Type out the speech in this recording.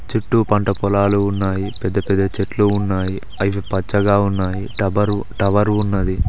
చుట్టూ పంట పొలాలు ఉన్నాయి పెద్ద పెద్ద చెట్లు ఉన్నాయి అవి పచ్చగా ఉన్నాయి టవరు ఉన్నది.